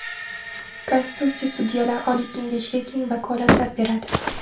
Konstitutsiya Sudyalar oliy kengashiga keng vakolatlar beradi.